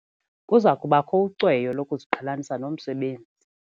Kuza kubakho ucweyo lokuziqhelanisa nomsebenzi.